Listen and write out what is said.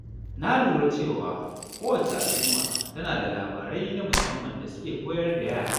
Na lura cewa kowacce al’umma tana da labarai na musamman da suke koyar da yara.